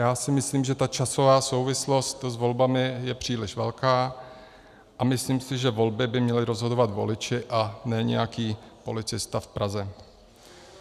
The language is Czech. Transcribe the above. Já si myslím, že ta časová souvislost s volbami je příliš velká, a myslím si, že volby by měli rozhodovat voliči a ne nějaký policista v Praze.